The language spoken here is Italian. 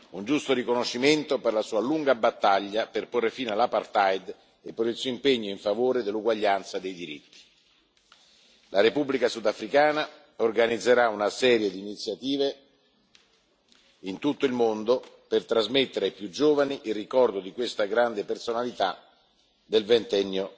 Un giusto riconoscimento per la sua lunga battaglia per porre fine all' apartheid e per il suo impegno in favore dell'uguaglianza dei diritti. La Repubblica sudafricana organizzerà una serie di iniziative in tutto il mondo per trasmettere ai più giovani il ricordo di questa grande personalità del